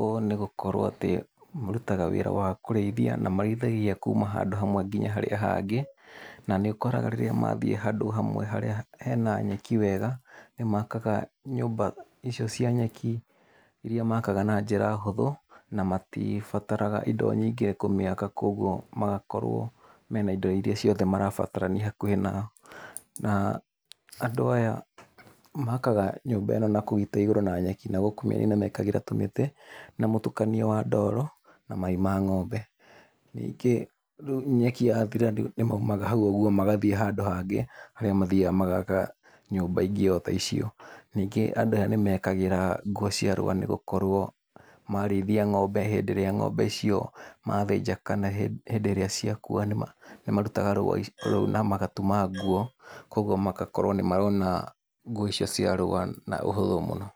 ũũ nĩgũkorwo atĩ marutaga wĩra wa kũrĩithia, na marĩithagia kuuma handũ hamwe nginya harĩa hangĩ, na nĩũkoraga rĩrĩa mathiĩ handũ hamwe harĩa hena nyeki wega, nĩ makaga nyũmba icio ci nyeki, irĩa makaga na njĩra hũthũ na matibataraga indo nyingĩ kũmĩaka, koguo magakorwo mena indo ciothe irĩa marabatarania, kwĩ na na, andũ aya makaga nyumba ĩno na kũu igũrũ na nyeki na gũkũ mĩena-inĩ mekĩraga tũmĩtĩ na mũtukanio wa ndoro na mai ma ng'ombe. Ningĩ nyeki ya thira, maumaga hau ũguo magathiĩ handũ hangĩ, mathiyaga magaka nyũmba ingĩ o ta icio. Ningĩ andũ aya nĩmekĩraga nguo cia rũa nĩgũkorwo marĩithia ng'ombe hĩndĩ ĩrĩa ng'ombe icio mathĩnja kana hĩndĩ ĩrĩa cia kuua nĩmarutaga rũa rũu na magatuma nguo koguo magakorwo nĩmarona nguo icio cia rũa na ũhũthũ mũno.